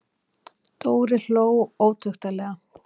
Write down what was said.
Dóri hló ótuktarlega.